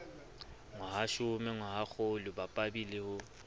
ngwahashome ngwahakgolo bapabi le ho